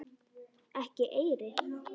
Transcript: Ekki eyri.